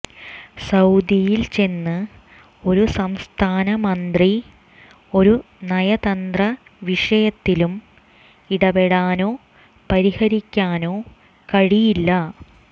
സൌദിയിൽ ചെന്ന് ഒരു സംസ്ഥാന മന്ത്രി ഒരു നയതന്ത്രവിഷയത്തിലും ഇടപെടാനോ പരിഹരിക്കാനോ കഴിയില്ല